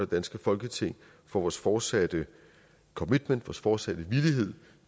danske folketing for vores fortsatte commitment vores fortsatte villighed